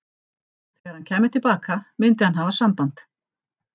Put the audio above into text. Þegar hann kæmi til baka myndi hann hafa samband.